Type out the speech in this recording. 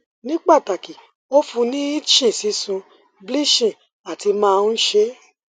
ni pataki o fun ni itching sisun bleaching ati maa n ṣe